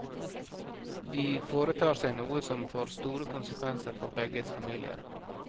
De foretar seg noe som får store konsekvenser for begges familier.